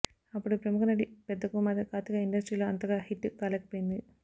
అప్పటి ప్రముఖ నటి పెద్ద కుమార్తె కార్తిక ఇండస్ట్రీలో అంతగా హిట్ కాలేకపోయింది